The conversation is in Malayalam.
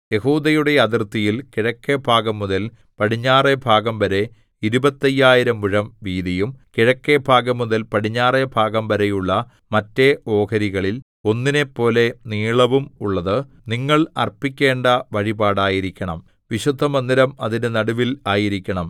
യെഹൂദയുടെ അതിർത്തിയിൽ കിഴക്കെഭാഗംമുതൽ പടിഞ്ഞാറെ ഭാഗംവരെ ഇരുപത്തയ്യായിരം മുഴം വീതിയും കിഴക്കെഭാഗംമുതൽ പടിഞ്ഞാറെഭാഗംവരെയുള്ള മറ്റെ ഓഹരികളിൽ ഒന്നിനെപ്പോലെ നീളവും ഉള്ളത് നിങ്ങൾ അർപ്പിക്കേണ്ട വഴിപാടായിരിക്കണം വിശുദ്ധമന്ദിരം അതിന്റെ നടുവിൽ ആയിരിക്കണം